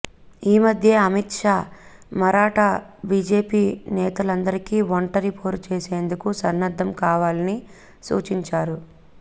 ఈ మధ్యే అమిత్ షా మరాఠా బీజేపీ నేతలందరికి ఒంటరి పోరు చేసేందుకు సన్నద్ధం కావాలని సూచించారు